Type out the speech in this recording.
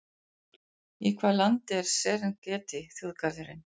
Í hvaða landi er Serengeti þjóðgarðurinn?